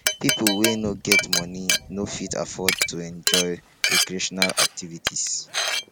pipo wey no get money no fit afford to enjoy recreational activities